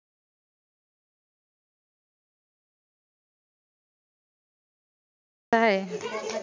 काय आहे?